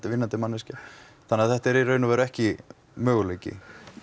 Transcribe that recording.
vinnandi manneskja þannig þetta er í raun og veru ekki möguleiki